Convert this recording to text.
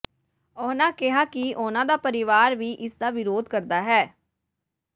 ਉਨ੍ਹਾਂ ਕਿਹਾ ਕਿ ਉਨ੍ਹਾਂ ਦਾ ਪਰਿਵਾਰ ਵੀ ਇਸ ਦਾ ਵਿਰੋਧ ਕਰਦਾ ਹੈ